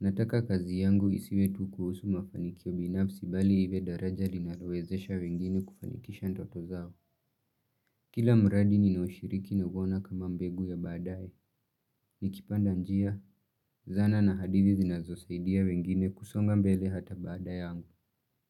Nataka kazi yangu isiwe tu kuhusu mafanikio binafsi bali iwe daraja linalowezesha wengine kufanikisha ndoto zao. Kila mradi ninaoushiriki nauona kama mbegu ya baadaye. Nikipanda njia, zana na hadithi zinazosaidia wengine kusonga mbele hata baada yangu.